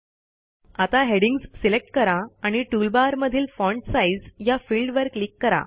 आता headings select करा आणि टूलबार मधील फॉन्ट साइझ या फिल्डवर क्लिक करा